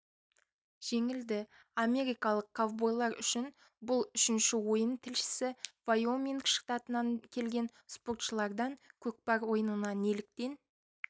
жеңілді америкалық ковбойлар үшін бұл үшінші ойын тілшісі вайоминг штатынан келген спортшылардан көкпар ойынына неліктен